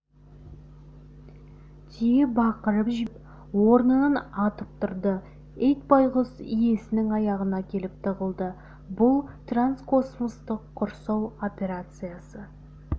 түйе бақырып жіберіп орнынан атып тұрды ит байғұс иесінің аяғына келіп тығылды бұл транскосмостық құрсау операциясы